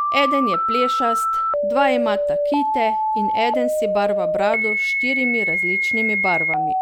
Eden je plešast, dva imata kite in eden si barva brado s štirimi različnimi barvami.